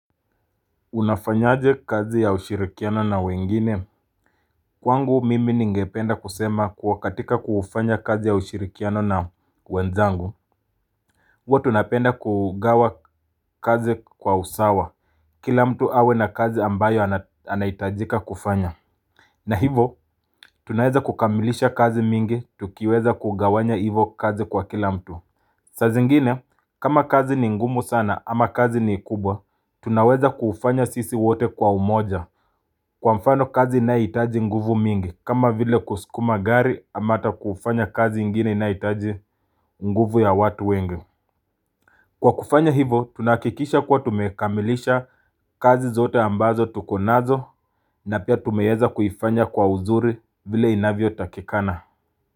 Unafanyaje kazi ya ushirikiano na wengine Kwangu mimi ningependa kusema kuwa katika kufanya kazi ya ushirikiano na wenzangu huwa tunapenda kugawa kazi kwa usawa Kila mtu awe na kazi ambayo anahitajika kufanya na hivo tunaweza kukamilisha kazi mingi tukiweza kugawanya hivo kazi kwa kila mtu saa zngine kama kazi ni ngumu sana ama kazi ni kubwa tunaweza kufanya sisi wote kwa umoja Kwa mfano kazi inayohitaji nguvu mingi kama vile kuskuma gari ama ta kufanya kazi ingine inahitaji nguvu ya watu wengi. Kwa kufanya hivo tunahakikisha kuwa tumekamilisha kazi zote ambazo tuko nazo na pia tumeweza kufanya kwa uzuri vile inavyo takikana.